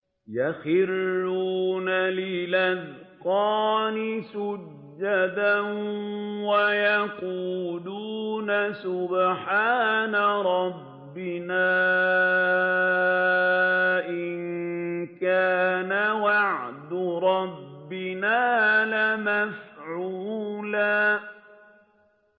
وَيَقُولُونَ سُبْحَانَ رَبِّنَا إِن كَانَ وَعْدُ رَبِّنَا لَمَفْعُولًا